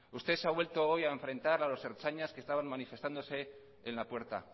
usted se ha vuelto hoy a enfrentar a los ertzainas que estaban manifestándose en la puerta